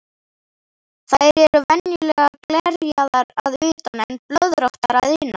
Þær eru venjulega glerjaðar að utan en blöðróttar að innan.